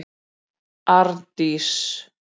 Arndís